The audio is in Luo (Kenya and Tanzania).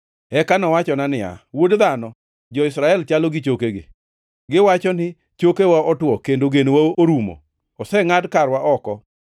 Eka nowachona niya, “Wuod dhano, jo-Israel chalo gi chokegi. Giwacho ni, ‘Chokewa otwo kendo genowa orumo; osengʼad karwa oko.’